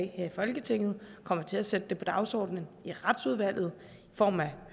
her i folketinget og kommer til at sætte det på dagsordenen i retsudvalget i form af